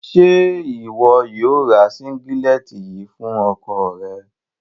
Ṣe iwọ yóò rá sínǵílẹ̀tì yìí fún ọkọ̀ rẹ?